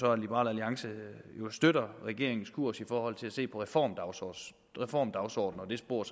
at liberal alliance støtter regeringens kurs i forhold til at se på reformdagsordener reformdagsordener og det spor